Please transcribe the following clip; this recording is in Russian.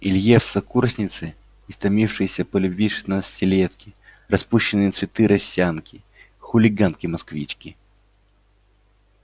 илье в сокурсницы истомившиеся по любви шестнадцатилетки распущенные цветы росянки хулиганки-москвички